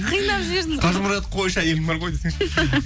қинап жібердіңіз қажымұрат қойшы әйелің бар ғой десеңші